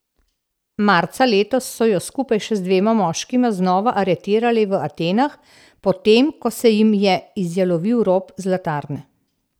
Marca letos so jo skupaj še z dvema moškima znova aretirali v Atenah, potem ko se jim je izjalovil rop zlatarne.